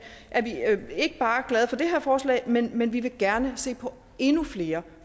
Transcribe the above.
ikke bare glade for det her forslag men men vil gerne se på endnu flere